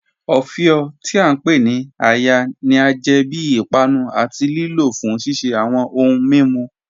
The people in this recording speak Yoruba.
Ọfíọ, tí a ǹ pe ni "àya," ni a jẹ bí ìpànù àti lìlò fún ṣiṣẹ̀ awọn ọ̀hùǹ mímú.